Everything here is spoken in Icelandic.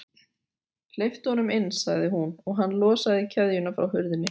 Hleyptu honum inn sagði hún, og hann losaði keðjuna frá hurðinni.